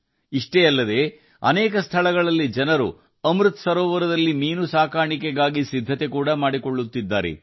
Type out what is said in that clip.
ಅಷ್ಟೇ ಅಲ್ಲ ಅಮೃತ್ ಸರೋವರದಲ್ಲಿ ಮೀನು ಸಾಕಣೆಗೆ ಹಲವೆಡೆ ಜನರು ಸಿದ್ಧತೆ ನಡೆಸುತ್ತಿದ್ದಾರೆ